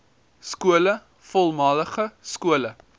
skole voormalige skole